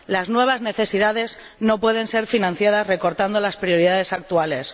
Las nuevas necesidades no pueden ser financiadas recortando las prioridades actuales.